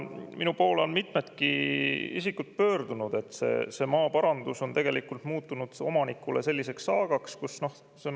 Minu poole on mitmedki isikud pöördunud maaparandus on muutunud omanikule selliseks saagaks.